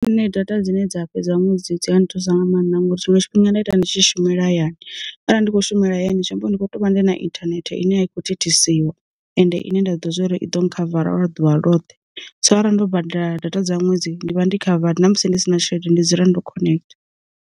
Nṋe data dzine dza fhedza ṅwedzi dzi ha ni thusa nga maanḓa ngori zwi nga tshifhinga nda ita ndi tshi shumela hayani, arali ndi kho shumela hayani zwiambo ndi kho to vha ndi na inthanethe ine a i khou thithisiwa, ende ine nda ḓo zwo uri i ḓo khavara lwa ḓuvha ḽoṱhe, so arali ndo badela data dza ṅwedzi ndi vha ndi khavadi na musi ndi si na tshelede ndi dzula ndo khonektha.